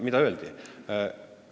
Mida öeldi?